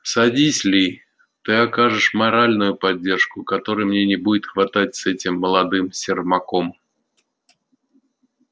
садись ли ты окажешь моральную поддержку которой мне не будет хватать с этим молодым сермаком